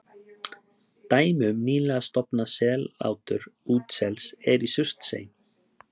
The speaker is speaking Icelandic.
Dæmi um nýlega stofnað sellátur útsels er í Surtsey.